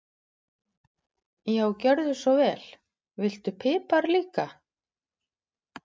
Já, gjörðu svo vel. Viltu pipar líka?